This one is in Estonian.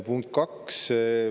Punkt kaks.